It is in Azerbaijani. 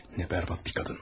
Ne berbat bir kadın.